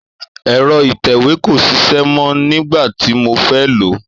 èro ìtẹ̀wé kò sisẹ́ mọ, nígbàtí mo fé lòó